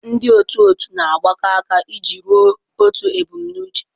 Ndị otu otu na-agbakọ aka iji ruo otu ebumnuche.